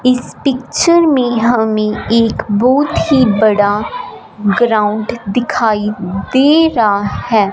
इस पिक्चर में हमें एक बहुत ही बड़ा ग्राउंड दिखाई दे रहा है।